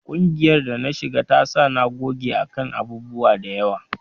Ƙungiyar da na shiga ta sa na goge a kan abubuwa da yawa